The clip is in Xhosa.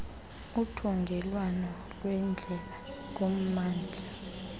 uthungelwano lweendlela kummandla